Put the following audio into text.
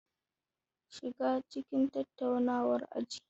Shiga cikin tattaunawar aji.